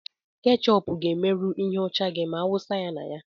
Ketchup ga-emerụ ihe ọcha gị ma awụsa ya na ya.